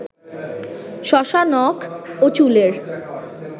শশা নখ ও চুলের